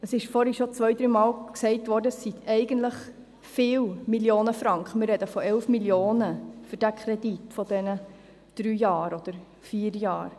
Vorhin ist schon zwei-, dreimal gesagt worden, es seien viele Millionen Franken – wir sprechen von 11 Mio. Franken für einen Kredit während drei oder vier Jahren.